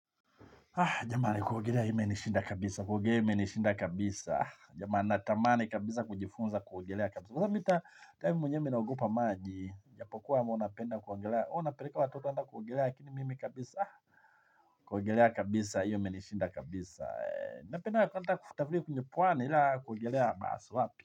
Jamani kuogelea imenishinda kabisa, kuogelea imenishinda kabisa. Jamani natamani kabisa kujifunza kuogelea kabisa. Kwaza mita time mwenye mi naogopa maji japo kuwa mwenapenda kuogelea huwa napeleka watoto anda kuogelea lakini mimi kabisa. Kuogelea kabisa hii imenishinda kabisa. Napenda wakanta kutafili kunye puwane ila kuugilea maswapi.